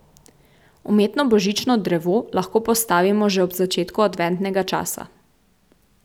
Umetno božično drevo lahko postavimo že ob začetku adventnega časa.